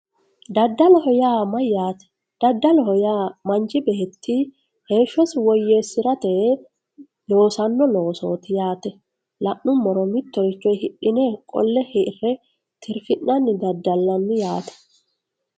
dadaloho mayyaate? daddaloho yaa manchi beetti heeshshosi woyyeessirate yee loosanno loosooti yaate la'nummoro mittoricho hidhine qolle hirranni tirfi'nanni daddallanni yaate